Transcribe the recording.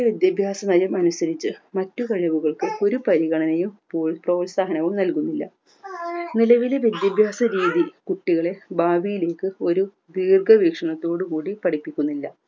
വിദ്യാഭ്യാസനയം അനുസരിച്ച് മറ്റു കഴിവുകൾക്ക് ഒരു പരിഗണനയും പ്രോ പ്രോത്സാഹനവും നൽകുന്നില്ല നിലവിലെ വിദ്യാഭ്യാസരീതി കുട്ടികളെ ഭാവിയിലേക്ക് ഒരു ദീർഘവീക്ഷണത്തോടുകൂടി പഠിപ്പിക്കുന്നില്ല